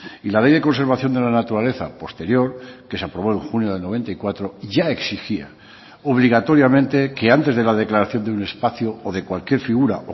y la ley de conservación de la naturaleza posterior que se aprobó en junio del noventa y cuatro ya exigía obligatoriamente que antes de la declaración de un espacio o de cualquier figura